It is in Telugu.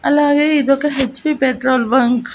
అలాగే ఇదొక హెచ్ పి పెట్రోల్ బంక్ .